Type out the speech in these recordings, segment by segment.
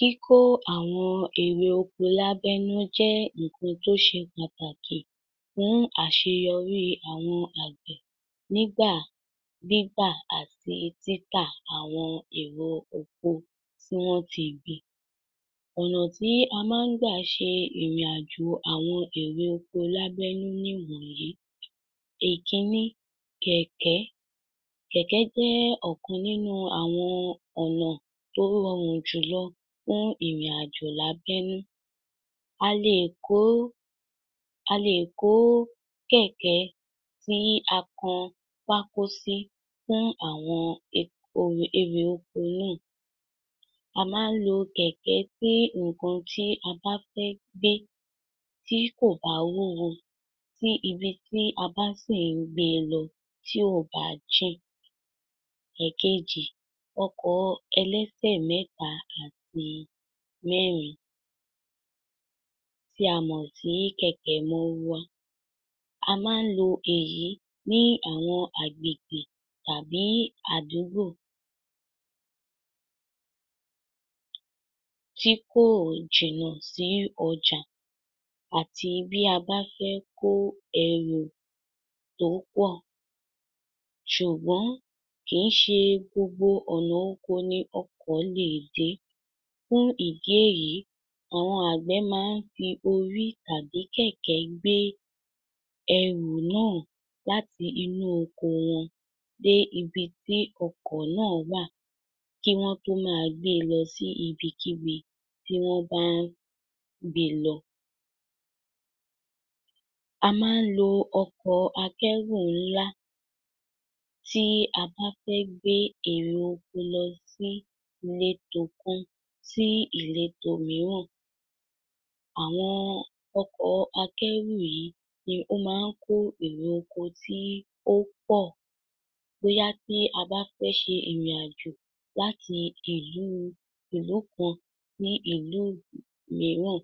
Kíkó àwọn èrè oko lábẹ́nú jẹ́ ńkan tó ṣe pàtàkì fún àṣeyọrí àwọn àgbẹ̀ nígbà gbígbà àti títà àwọn èrè oko tí wọ́n ti gbìn. Ọ̀nà tí a máa ń gbà ṣe ìrìnàjò àwọn èrè oko lábẹ́nú níwọ̀nyí: Èkínní, kẹ̀kẹ́. Kẹ̀kẹ́ jẹ́ ọ̀kan nínú àwọn ọ̀nà tó rọrùn jùlọ fún ìrìnàjò lábẹ́nú. A lè kó, a lè kó kẹ̀kẹ́ tí a kan pákó sí fún àwọn èrè oko náà. A máa ń lo kẹ̀kẹ́ fún nǹkan tí a bá fẹ́ gbé, tí kò bá wúwo, tí ibi tí a bá sì ń gbé lọ tí ò bá jìn. Ẹ̀kejì, ọkọ̀ ẹlẹ́sẹ̀ mẹ́ta àti mẹ́rin tí a mọ̀ sí kẹ̀kẹ́ mọ́rúwá. A máa ń lo èyí ní àwọn àgbègbè tàbí adúgbo tí kò jìnà sí ọjà àti bí a bá fẹ́ kó ẹrù tó pọ̀. Ṣùgbọ́n kì í ṣe gbogbo ọ̀nà oko ni ọkọ̀ lè dé. Fún ìdí èyí, àwọn àgbẹ̀ máa ń fi orí tàbí kẹ̀kẹ́ gbé ẹrù náà láti inú oko wọn dé ibi tí ọkọ̀ náà wà kí wọ́n tó máa gbé lọ sí ibikíbi tí wọ́n bá ń gbé e lọ. A máa ń lo ọkọ̀ akẹ̀rù ńlá tí a bá fẹ́ gbé èrè oko lọ sí ìletò kan sí ìletò miírán. Àwọn ọkọ̀ akẹ́rù yìí ni ó máa ń kó èrè oko tí ó pọ̀, bóyá tí a bá fẹ́ ṣe ìrìnàjò láti ìlú kan sí ìlú miíràn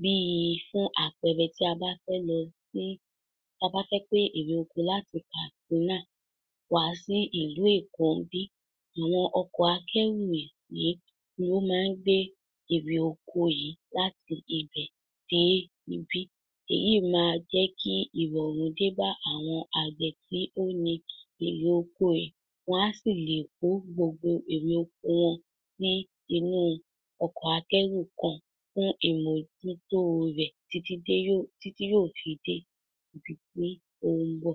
bí fún àpẹẹrẹ, tí a bá fẹ́ gbé èrè oko láti Kàdúná wá sí ìlú Èkó níbí, àwọn ọkọ̀ akẹ́rù yìí ni ó máa ń gbé èrè oko yìí láti ibẹ̀ dé ibí. Èyí máa jẹ́ kí ìrọ̀rùn dé bá àwọn àgbẹ̀ tí ó ní èrè oko. Wọn á sì le kó gbogbo èrè oko wọn sí inú ọkọ̀ akẹ́rù kan fún ìmójútó rẹ̀, títí yóò fi dé ibi tí ó ń mbọ̀.